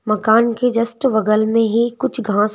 मकान के जस्ट बगल में ही कुछ घास--